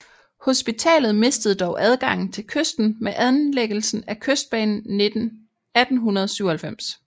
Hospitalet mistede dog adgangen til kysten med anlæggelsen af Kystbanen 1897